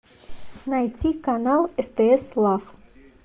найти канал стс лав